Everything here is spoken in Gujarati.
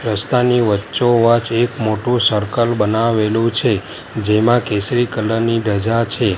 રસ્તાની વચ્ચોવચ એક મોટું સર્કલ બનાવેલું છે જેમાં કેસરી કલર ની ધજા છે.